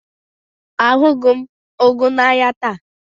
Ahụghị m ụgụ n'ahịa taata.